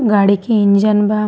गाड़ी के इंजन बा।